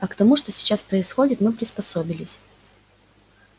а к тому что сейчас происходит мы приспособились